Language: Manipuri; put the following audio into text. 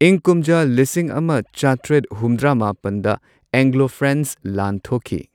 ꯏꯪ ꯀꯨꯝꯖꯥ ꯂꯤꯁꯤꯡ ꯑꯃ ꯆꯥꯇ꯭ꯔꯦꯠ ꯍꯨꯝꯗ꯭ꯔꯥ ꯃꯥꯄꯟꯗ ꯑꯦꯡꯒ꯭ꯂꯣ ꯐ꯭ꯔꯦꯟꯆ ꯂꯥꯟ ꯊꯣꯛꯈꯤ꯫